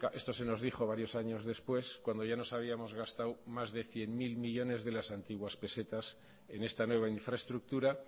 esto se nos dijo varios años después cuando ya nos habíamos gastado más de cien mil millónes de las antiguas pesetas en esta nueva infraestructura